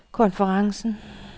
konferencen